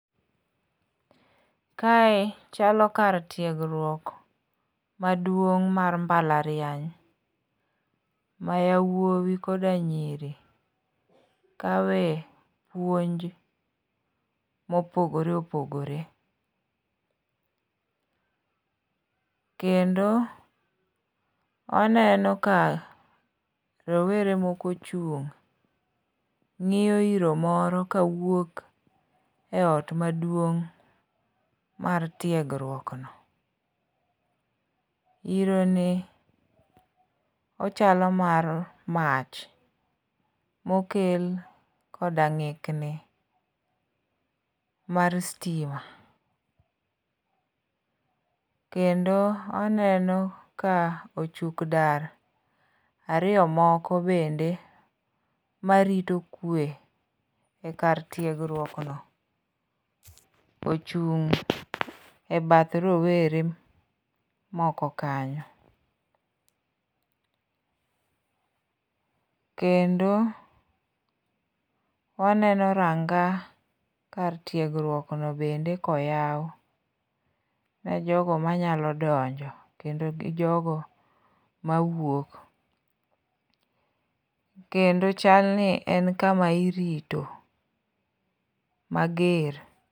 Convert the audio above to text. Kae chalo kar tiegruok maduong' mar mbalariany ma yawuowi koda nyiri kawe puonj mopogore opogore. Kendo waneno ka rowere moko ochung' ng'iyo iro moro kawuok e ot maduong' mar tiegruokno. Ironi ochalo mar mach mokel koda ng'ikni mar stima. Kendo oneno ka ochuk dar ariyo moko bende marito kwe e kar tiegruokno ochung' e bath rowere moko kanyo. Kendo waneno ranga kar tiegruokno bende koyaw ne jogo manyalo donjo kendo jogo mawuok. Kendo chalni en kama irito mager.